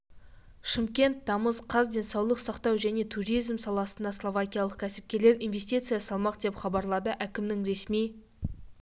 шымкент тамыз қаз денсаулық сақтау және туризм саласына словакиялық кәсіпкерлер инвестиция салмақ деп хабарлады әкімінің ресми